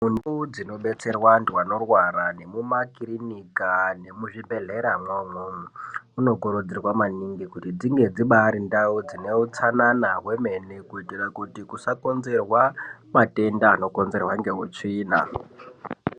Mundau dzinobetserwa antu anorwara nemumakirinika nemuzvibhedhleramwo umwomwo. Munokurudzirwa maningi kuti dzinge dzibari ndau dzineutsanana hwemene. Kuitira kuti kusakonzerwa matenda anokonzerwa ngeutsvina.